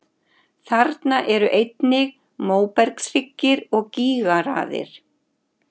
Þarna eru einnig móbergshryggir og gígaraðir.